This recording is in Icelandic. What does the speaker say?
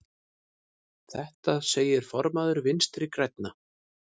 Þetta segir formaður Vinstri grænna.